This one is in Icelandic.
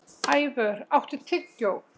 Ævör, áttu tyggjó?